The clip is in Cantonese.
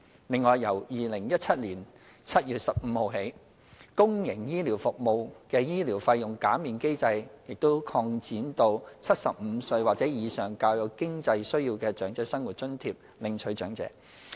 另外，由2017年7月15日起，公營醫療服務的醫療費用減免機制已擴展至75歲或以上較有經濟需要的"長者生活津貼"領取長者。